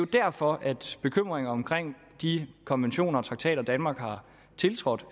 derfor at bekymringer om de konventioner og traktater danmark har tiltrådt